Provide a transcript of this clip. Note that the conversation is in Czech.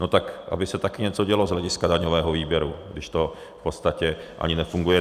No tak aby se taky něco dělo z hlediska daňového výběru, když to v podstatě ani nefunguje.